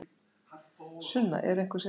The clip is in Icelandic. Sunna: Eru einhver sérstök áhyggjuefni?